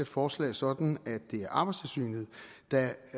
forslag sådan at det er arbejdstilsynet der